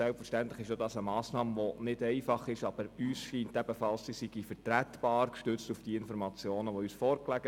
Selbstverständlich ist es keine einfache Massnahme, aber wir sind der Meinung, sie sei vertretbar, gestützt auf die Informationen, die uns vorlagen.